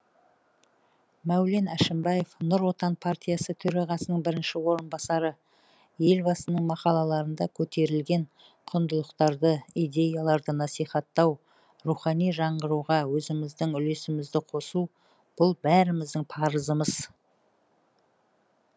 мәулен әшімбаев нұр отан партиясы төрағасының бірінші орынбасары елбасының мақалаларында көтерілген құндылықтарды идеяларды насихаттау рухани жаңғыруға өзіміздің үлесімізді қосу бұл бәріміздің парызымыз